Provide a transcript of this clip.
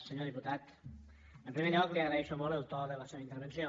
senyor diputat en primer lloc li agraeixo molt el to de la seva intervenció